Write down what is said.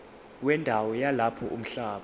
wendawo yalapho umhlaba